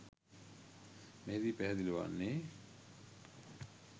මෙහිදී පැහැදිලි වන්නේ